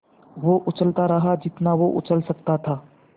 वो उछलता रहा जितना वो उछल सकता था